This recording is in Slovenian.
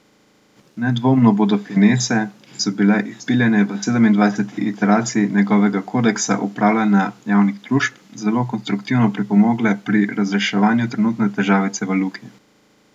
Nedvomno bodo finese, ki so bile izpiljene v sedemindvajseti iteraciji njegovega kodeksa upravljanja javnih družb, zelo konstruktivno pripomogle pri razreševanju trenutne težavice v Luki.